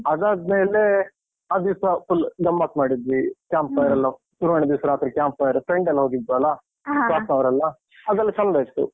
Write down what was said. ಅದಾದ್ಮೇಲೆ ಆ ದಿವ್ಸ full ಗಮ್ಮತ್ತ್ ಮಾಡಿದ್ವಿ, campfire ಎಲ್ಲ ಸುರುವಿನ ದಿವ್ಸ ರಾತ್ರಿ camp fire friend ಎಲ್ಲ ಹೋಗಿದ್ವಲ್ಲ? staff ನವರೆಲ್ಲ? ಅದೆಲ್ಲ ಚೆಂದ ಇತ್ತು.